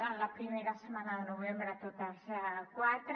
en la primera setmana de novembre quatre